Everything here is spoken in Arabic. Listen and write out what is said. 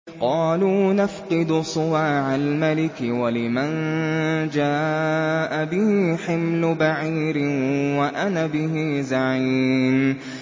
قَالُوا نَفْقِدُ صُوَاعَ الْمَلِكِ وَلِمَن جَاءَ بِهِ حِمْلُ بَعِيرٍ وَأَنَا بِهِ زَعِيمٌ